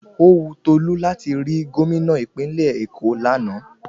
Ówu Tolú láti rí Gómìnà ìpínlẹ̀ Èkó lánàá